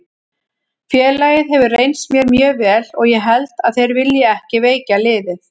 Félagið hefur reynst mér mjög vel og ég held að þeir vilji ekki veikja liðið.